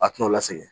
A t'o la sɛgɛn